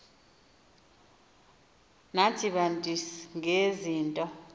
nathi bantu ngezinto